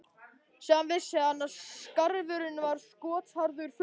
Síðan vissi hann að skarfurinn var skotharðastur fugla.